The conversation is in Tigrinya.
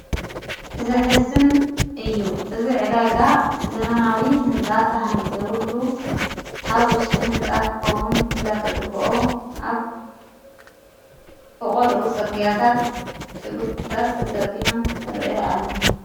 እዘሕዝን እዩ እዝ ዕደጋ ዘበናዊ ሕንፃ ተሓኒጺቡሉ ኣብ ውሽጢ ሕንጻ ክኸውን እንዳተግብኦ ኣብ ፍቖዱኡ ጽርግያታት ሽጕርታት ተዘርጕሖም ርእአ ኣለና